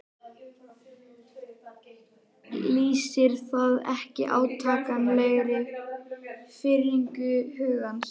Lýsir það ekki átakanlegri firringu hugans?